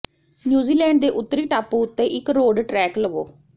New Zealand ਦੇ ਉੱਤਰੀ ਟਾਪੂ ਉੱਤੇ ਇੱਕ ਰੋਡ ਟ੍ਰੈੱਕ ਲਵੋ